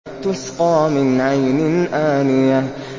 تُسْقَىٰ مِنْ عَيْنٍ آنِيَةٍ